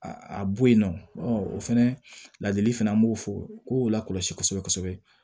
A a bo yen nɔ o fɛnɛ ladili fana an b'o fɔ ko la kɔlɔsi kosɛbɛ kosɛbɛ